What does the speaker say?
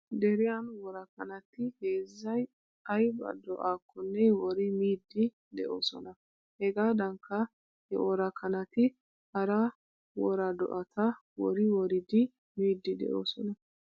Deriyan wora kanati heezzay ayba do'akkonne wori miiddi de'oosona. Hegaadankka he wora kanati hara wora do'ata wori woridi miidi de'oosona.